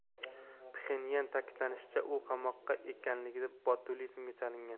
Pxenyanda ta’kidlanishicha, u qamoqda ekanligida botulizmga chalingan.